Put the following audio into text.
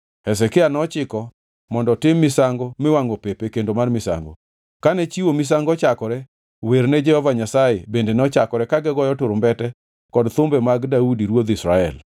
Hezekia nochiko mondo otim misango miwangʼo pep e kendo mar misango. Kane chiwo misango ochakore, wer ne Jehova Nyasaye bende nochakore ka gigoyo turumbete kod thumbe mag Daudi ruodh Israel.